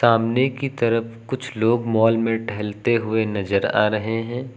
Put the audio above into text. सामने की तरफ कुछ लोग मॉल में टहलते हुए नजर आ रहे हैं।